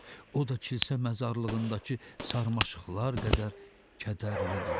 O da kilsə məzarlığındakı sarmaşıqlar qədər kədərlidir.